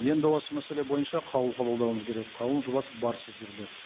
енді осы мәселе бойынша қаулы қабылдауымыз керек қаулының жобасы бар сіздерде